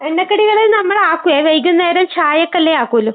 എണ്ണക്കടികളെയും നമ്മൾ ആക്കുവേ. വൈകുന്നേരം ചായക്കെല്ലാം ആക്കുള്ളൂ .